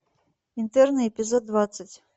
интерны эпизод двадцать